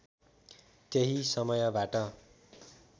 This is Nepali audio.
त्यही समयबाट